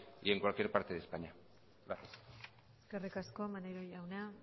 y en cualquier parte de españa gracias eskerrik asko maneiro jauna